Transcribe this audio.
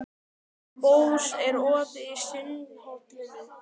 Bóas, er opið í Sundhöllinni?